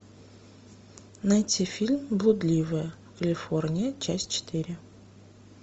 найти фильм блудливая калифорния часть четыре